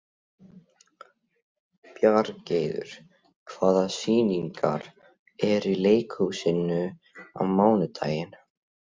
Bjargheiður, hvaða sýningar eru í leikhúsinu á mánudaginn?